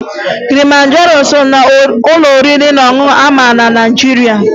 Kilimanjaro so n'ụlọ oriri na ọṅụṅụ a ma ama na Naịjiria